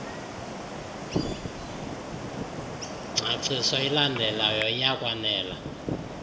ngcaciso ilandelayo iyakwanela